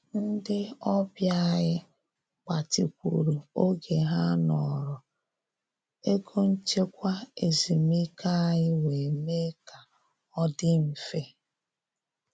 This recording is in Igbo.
Ndị ọbịa anyị gbatịkwuru oge ha nọrọ, ego nchekwa ezumike anyị wee mee ka ọ dị mfe